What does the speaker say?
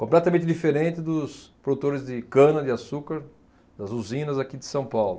Completamente diferente dos produtores de cana-de-açúcar das usinas aqui de São Paulo.